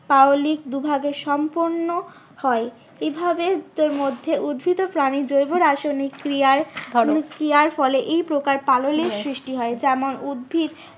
পাললিক দুভাগে সম্পূর্ণ হয়। এভাবে তার মধ্যে উদ্ভিত ও প্রাণী জৈব রাসায়নিক ক্রিয়ায় ক্রিয়ার ফলে এই প্রকার সৃষ্টি হয় যেমন উদ্ভিত